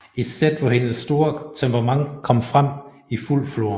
Et sæt hvor hendes store temperament kom frem i fuld flor